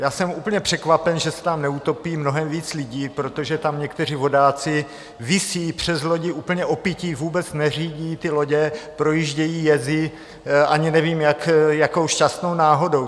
Jsem úplně překvapen, že se nám neutopí mnohem víc lidí, protože tam někteří vodáci visí přes lodě úplně opilí, vůbec neřídí ty lodě, projíždějí jezy, ani nevím, jakou šťastnou náhodou.